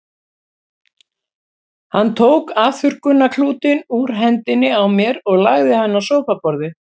Hann tók afþurrkunarklútinn úr hendinni á mér og lagði hann á sófaborðið.